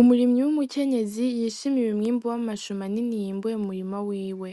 Umurimyi w'umukenyezi yishimiye umwimbu w'amashu manini yimbuye mu murima wiwe